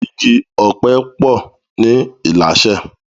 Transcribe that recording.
Igi òpè po ni Ilashe